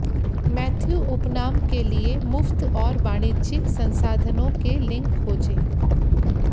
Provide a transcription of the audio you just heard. Matthew उपनाम के लिए मुफ्त और वाणिज्यिक संसाधनों के लिंक खोजें